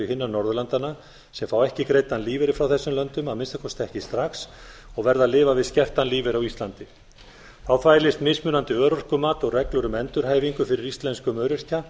hinna norðurlandanna sem fá ekki greiddan lífeyri frá þessum löndum að minnsta kosti ekki strax og verða að lifa við skertan lífeyri á íslandi þá þvælist mismunandi örorkumat og reglur um endurhæfingu fyrir íslenskum öryrkja